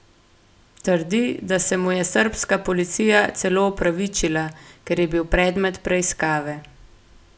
Trdi, da se mu je srbska policija celo opravičila, ker je bil predmet preiskave.